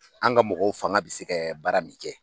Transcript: Anw ka mɔgɔw fanga bɛ se ka baara min kɛ